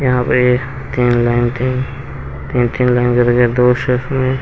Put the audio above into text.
यहां पे तीन लाइन थे तीन तीन लाइन करके दो शेप में--